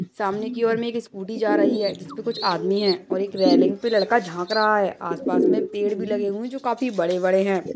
सामने कि और में एक स्कूली जा रही है जिस पर कुछ आदमी हैं और एक रेलिंग पे लड़का झांक रहा है आस-पास में पेड़ भी लगे हुए हैं जो काफी बड़े-बड़े हैं।